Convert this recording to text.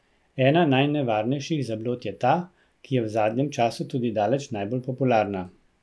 Ena najnevarnejših zablod je ta, ki je v zadnjem času tudi daleč najbolj popularna.